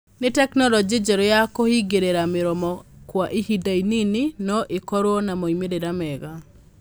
No tekinolonjĩ njerũ ya kũhingĩrĩria mĩromo kwa ihinda inini no ĩkorũo na moimĩrĩro mega.